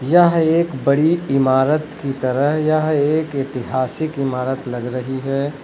यह एक बड़ी इमारत की तरह यह एक ऐतिहासिक इमारत लग रही है।